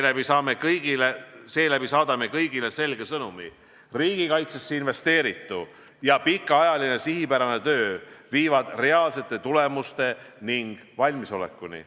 Seeläbi saadame kõigile selge sõnumi: riigikaitsesse investeeritu ja pikaajaline sihipärane töö viivad reaalsete tulemuste ning valmisolekuni.